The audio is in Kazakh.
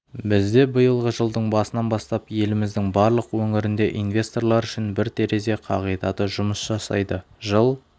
бізде биылғы жылдың басынан бастап еліміздің барлық өңірінде инвесторлар үшін бір терезе қағидаты жұмыс жасайды жыл